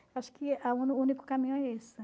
Acho que o único caminho é esse.